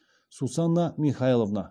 сусанна михайловна